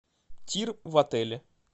тир в отеле